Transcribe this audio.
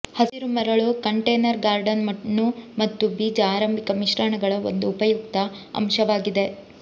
ಹಸಿರು ಮರಳು container garden ಮಣ್ಣು ಮತ್ತು ಬೀಜ ಆರಂಭಿಕ ಮಿಶ್ರಣಗಳ ಒಂದು ಉಪಯುಕ್ತ ಅಂಶವಾಗಿದೆ